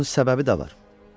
Bunun səbəbi də var.